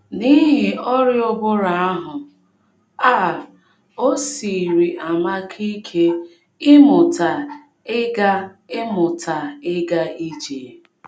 N’ihi ọrịa ụbụrụ ahụ, um o siiri Amaka ike ịmụta ịga ịmụta ịga ije.